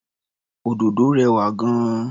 Òdòdó rẹwà gan-an.